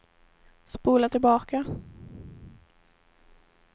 spola tillbaka